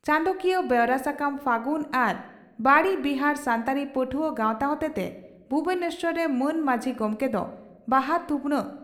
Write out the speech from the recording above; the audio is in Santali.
ᱪᱟᱸᱫᱚᱠᱤᱭᱟᱹ ᱵᱮᱣᱨᱟ ᱥᱟᱠᱟᱢ ᱯᱷᱟᱹᱜᱩᱱ ᱟᱨ ᱵᱟᱬᱤ ᱵᱤᱦᱟᱨ ᱥᱟᱱᱛᱟᱲᱤ ᱯᱟᱹᱴᱷᱩᱣᱟᱹ ᱜᱟᱣᱛᱟ ᱦᱚᱛᱮᱛᱮ ᱵᱷᱩᱵᱚᱱᱮᱥᱚᱨ ᱨᱮ ᱢᱟᱹᱱ ᱢᱟᱹᱡᱷᱤ ᱜᱚᱢᱠᱮ ᱫᱚ ᱵᱟᱦᱟ ᱛᱷᱩᱯᱱᱟᱜ